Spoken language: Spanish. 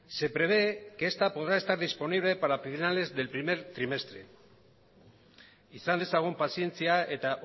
se prevé que está podrá estar disponible para finales del primer trimestre izan dezagun pazientzia eta